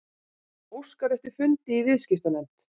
Óskar eftir fundi í viðskiptanefnd